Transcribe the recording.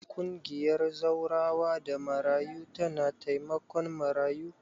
Ƙungiyar Zawarawa da Marayu tana taimakon marayu.